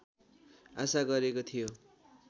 आशा गरेको थियो